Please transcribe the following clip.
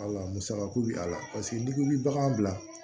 musakako bi a la paseke n'i ko i bi bagan bila